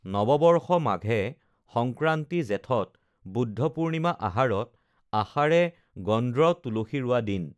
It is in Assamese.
নৱবৰ্ষ মাঘে সংক্ৰান্তি জেঠত বুদ্ধ পুৰ্ণিমা আহাৰত আষাড়ে গন্দ্ৰ তুলসী ৰোৱা দিন